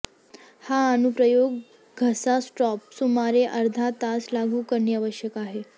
हा अनुप्रयोग घसा स्पॉट सुमारे अर्धा तास लागू करणे आवश्यक आहे